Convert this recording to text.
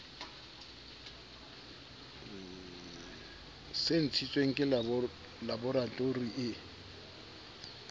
se ntshitsweng ke laboratori e